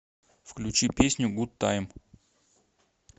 включи песню гуд тайм